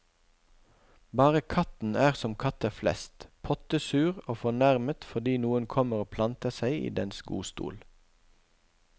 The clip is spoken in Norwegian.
Bare katten er som katter flest, pottesur og fornærmet fordi noen kommer og planter seg i dens godstol.